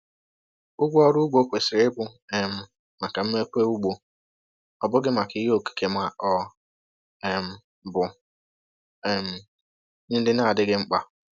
Ụgwọ ọrụ ugbo kwesịrị ịbụ um maka mmepe ugbo, ọ bụghị maka ihe okike ma ọ um bụ um ihe ndị na-adịghị mkpa